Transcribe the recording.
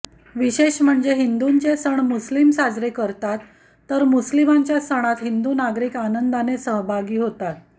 विशेष म्हणजे हिदूंचे सण मुस्लीम साजरे करतात तर मुस्लिमांच्या सणात हिंदू नागरिक आनंदाने सहभागी होतात